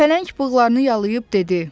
Pələng bığlarını yalıyıb dedi: